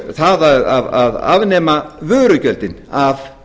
það að afnema vörugjöldin af